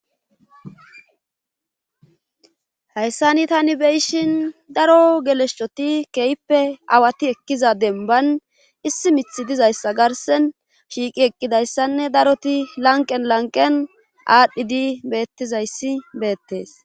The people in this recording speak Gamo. hayssani tani beyishin daro geleshschoti keyppe awati ekkiza demban issi mithi dizayssa garsen shiiqi eqqidayssanne daroti lanqen lanqen aadhdhidi beettizayssi beettes